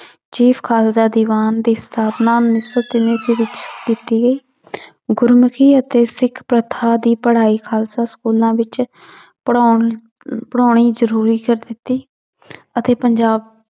chief Khalsa Diwan ਦੀ ਸਥਾਪਨਾ ਦੇ ਵਿੱਚ ਕੀਤੀ ਗੁਰਮੁਖੀ ਅਤੇ ਸਿੱਖ ਪ੍ਰਥਾ ਦੀ ਪੜ੍ਹਾਈ ਖਾਲਸਾ ਸਕੂਲਾਂ ਵਿੱਚ ਪੜ੍ਹਾਉਣ ਪੜ੍ਹਾਉਣੀ ਜ਼ਰੂਰੀ ਕਰ ਦਿੱਤੀ ਅਤੇ ਪੰਜਾਬ